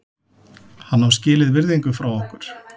Hann á skilið virðingu frá okkur.